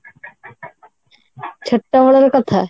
ସେତେବେଳର କଥା?